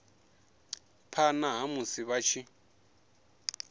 phana ha musi vha tshi